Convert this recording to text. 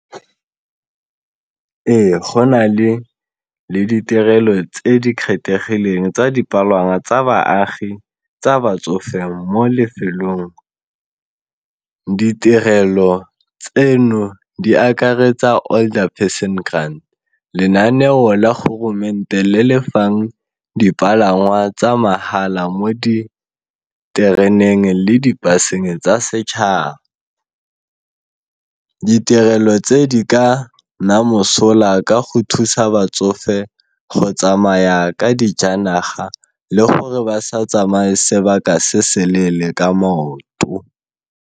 Ee, go na le ditirelo tse di kgethegileng tsa dipalangwa tsa baagi tsa batsofe mo lefelong, ditirelo tseno di akaretsa older person grant, lenaneo la le le fang dipalangwa tsa mahala mo ditereneng le di-bus-eng tsa setšhaba. Ditirelo tse di ka nna mosola ka go thusa batsofe go tsamaya ka dijanaga le gore ba sa tsamaye sebaka se se leele ka maoto.